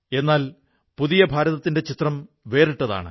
എന്നാൽ പുതിയ ഭാരതത്തിന്റെ ചിത്രം വേറിട്ടതാണ്